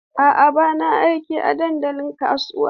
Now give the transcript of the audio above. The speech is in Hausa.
A'a, ba na aiki a dandalin kasuwa.